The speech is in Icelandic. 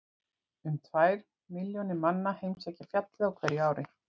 um tvær milljónir manna heimsækja fjallið á hverju ári